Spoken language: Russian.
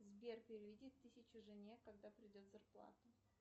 сбер переведи тысячу жене когда придет зарплата